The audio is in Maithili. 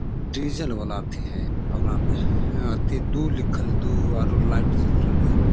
डीजल वला अथी हई ओकरा में अथी दू लिखल दू आरू लाइट जेल रहले है ।